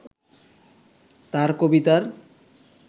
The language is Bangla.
তাঁর কবিতার